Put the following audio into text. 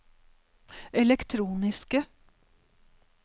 elektroniske